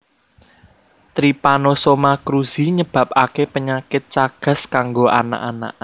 Trypanosoma Cruzi nyebabake penyakit chagas kanggo anak anak